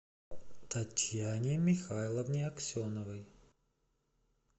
татьяне михайловне аксеновой